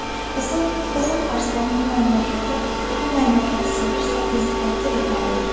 Qızıl Arslan bu məmləkəti sevirsə, bizi təqdir etməlidir.